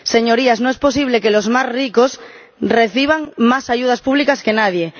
Señorías, no es posible que los más ricos reciban más ayudas públicas que nadie.